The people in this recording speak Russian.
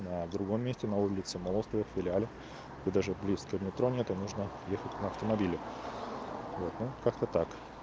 а в другом месте на улице молостовых в филиале и даже близко метро то нужно ехать на автомобиле вот ну как-то так